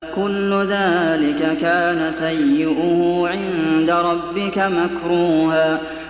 كُلُّ ذَٰلِكَ كَانَ سَيِّئُهُ عِندَ رَبِّكَ مَكْرُوهًا